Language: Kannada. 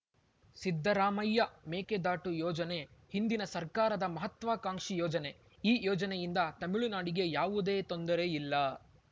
ಸಿದ್ದರಾಮಯ್ಯ ಮೇಕೆದಾಟು ಯೋಜನೆ ಹಿಂದಿನ ಸರ್ಕಾರದ ಮಹತ್ವಾಕಾಂಕ್ಷಿ ಯೋಜನೆ ಈ ಯೋಜನೆಯಿಂದ ತಮಿಳುನಾಡಿಗೆ ಯಾವುದೇ ತೊಂದರೆ ಇಲ್ಲ